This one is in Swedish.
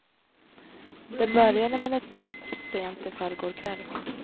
Det började med ett tips sent i förrgår kväll.